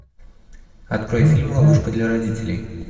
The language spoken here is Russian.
открой фильм ловушка для родителей